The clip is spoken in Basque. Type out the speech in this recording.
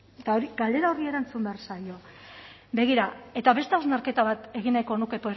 eta hori galdera horri erantzun behar zaio begira eta beste hausnarketa bat egin nahiko nuke